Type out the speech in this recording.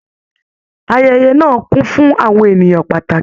Ayẹyẹ náà kún fún àwọn ènìyàn pàtàkì.